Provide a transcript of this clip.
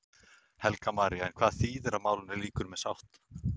Helga María: En hvað þýðir að málinu lýkur með sátt?